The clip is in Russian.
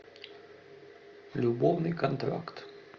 любовный контракт